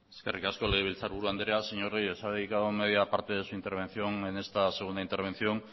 eskerrik asko legebiltzarburu andrea señor reyes ha dedicado media parte de su intervención en esta segunda intervención